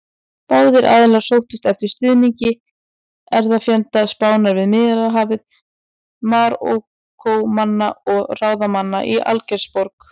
Báðir aðilar sóttust eftir stuðningi erfðafjenda Spánar við Miðjarðarhafið: Marokkómanna og ráðamanna í Algeirsborg.